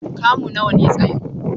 Kamu nawa ne tsayin?